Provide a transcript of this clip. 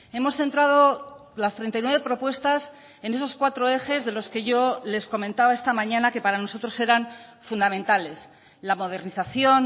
hemos centrado las treinta y nueve propuestas en esos cuatro ejes de los que yo les comentaba esta mañana que para nosotros eran fundamentales la modernización